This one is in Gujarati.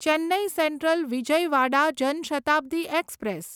Chennai Central Vijayawada Jan Shatabdi express